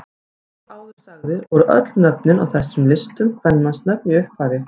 Eins og áður sagði voru öll nöfnin á þessum listum kvenmannsnöfn í upphafi.